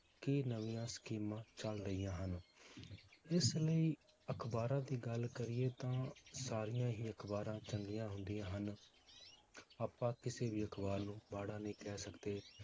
ਕੀ ਨਵੀਆਂ ਸਕੀਮਾਂ ਚਲ ਰਹੀਆਂ ਹਨ ਇਸ ਲਈ ਅਖਬਾਰਾਂ ਦੀ ਗੱਲ ਕਰੀਏ ਤਾਂ ਸਾਰੀਆਂ ਹੀ ਅਖਬਾਰਾਂ ਚੰਗੀਆਂ ਹੁੰਦੀਆਂ ਹਨ ਆਪਾਂ ਕਿਸੇ ਵੀ ਅਖਬਾਰ ਨੂੰ ਮਾੜਾ ਨਹੀਂ ਕਹਿ ਸਕਦੇ